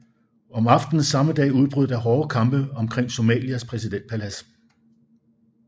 Om aftenen samme dag udbrød der hårde kampe omkring Somalias præsidentpalads